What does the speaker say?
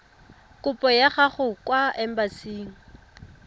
kopo ya gago kwa embasing